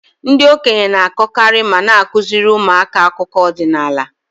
Ndị okenye na-akọkarị ma na-akụziri ụmụaka akụkọ ọdinala.